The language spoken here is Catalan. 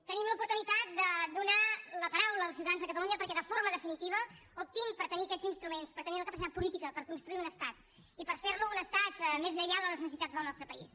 tenim l’oportunitat de donar la paraula als ciutadans de catalunya perquè de forma definitiva optin per tenir aquests instruments per tenir la capacitat política per construir un estat i per fer lo un estat més lleial a les necessitats del nostre país